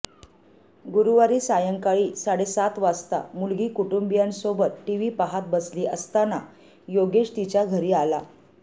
गुरुवारी सायंकाळी साडे सात वाजता मुलगी कुटुंबीयांसोबत टीव्ही पाहत बसली असताना योगेश तिच्या घरी आला